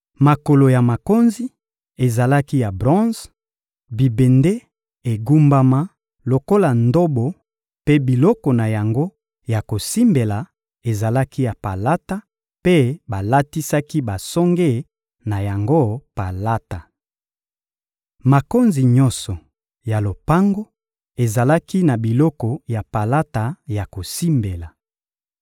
Makolo ya makonzi ezalaki ya bronze; bibende egumbama lokola ndobo mpe biloko na yango ya kosimbela ezalaki ya palata, mpe balatisaki basonge na yango palata. Makonzi nyonso ya lopango ezalaki na biloko ya palata ya kosimbela.